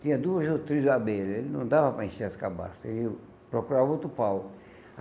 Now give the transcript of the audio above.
Tinha duas ou três abelhas, ele não dava para encher as cabaças, ele procurava outro pau.